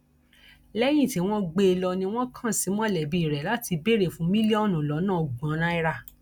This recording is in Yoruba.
lẹyìn tí wọn gbé e lọ ni wọn kàn sí mọlẹbí rẹ láti béèrè fún mílíọnù lọnà ọgbọn náírà